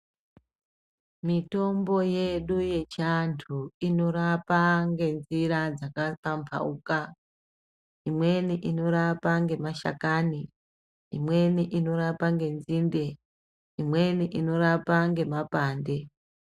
Mitombo yedu yechiantu inorapa ngenjira dzakapamphauka. Imweni inorapa ngemashakani ,imweni inorapa ngenzinde, imweni inorapa ngemapande.